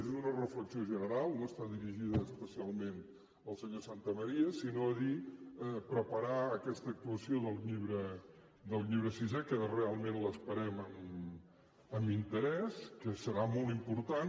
és una reflexió general no està dirigida especialment al senyor santamaría sinó a preparar aquesta actuació del llibre sisè que realment l’esperem amb interès que serà molt important